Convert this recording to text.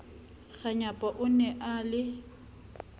kganyapa o ne a le